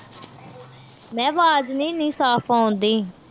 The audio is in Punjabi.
ਮੈਂ ਕਿਹਾ ਆਵਾਜ ਨੀ ਇਨੀ ਸਾਫ ਆਉਣ ਡਈ।